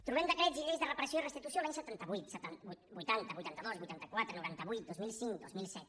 trobem decrets i lleis de reparació i restitució els anys setanta vuit vuitanta vuitanta dos vuitanta quatre noranta vuit dos mil cinc dos mil set